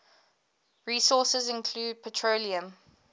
resources include petroleum